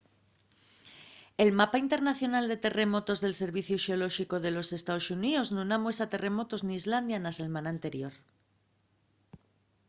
el mapa internacional de terremotos del serviciu xeolóxicu de los estaos xuníos nun amuesa terremotos n’islandia na selmana anterior